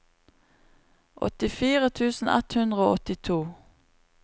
åttifire tusen ett hundre og åttito